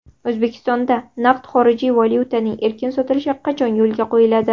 O‘zbekistonda naqd xorijiy valyutaning erkin sotilishi qachon yo‘lga qo‘yiladi?